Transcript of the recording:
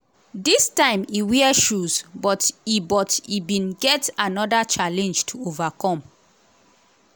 dis time e wear shoes but e but e bin get anoda challenge to overcome.